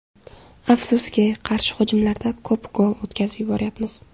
Afsuski, qarshi hujumlarda ko‘p gol o‘tkazib yuboryapmiz.